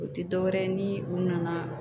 O tɛ dɔwɛrɛ ye ni u nana